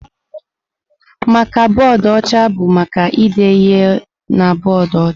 Maka bọọdụ ọcha bụ maka ide ihe na bọọdụ ọcha.